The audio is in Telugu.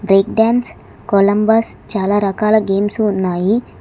కొలంబస్ చాలా రకాల గేమ్స్ ఉన్నాయి.